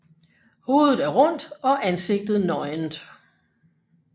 Hovedet er rundt og ansigtet nøgent